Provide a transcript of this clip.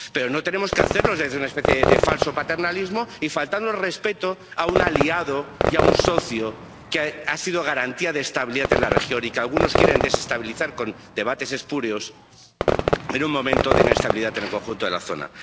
Pero no tenemos que hacerlo desde una especie de falso paternalismo y faltando al respeto a un aliado y a un socio que ha sido garantía de estabilidad en la región y que algunos quieren desestabilizar con debates espurios en un momento de inestabilidad en el conjunto de la zona.